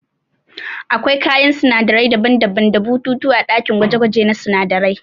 Akwai kayan sinadarai daban-daban da bututu ã dakin gwaje-gwaje na sunadarai.